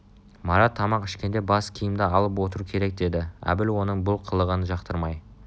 марат тамақ ішкенде бас киімді алып отыру керек деді әбіл оның бұл қылығын жақтырмай